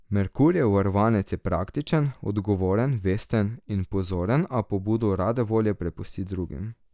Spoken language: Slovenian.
Merkurjev varovanec je praktičen, odgovoren, vesten in pozoren, a pobudo rade volje prepusti drugim.